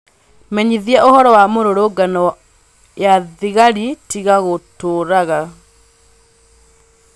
menyithia ūhoro wa mīrurūngano ya thigari tiga gūtuūraga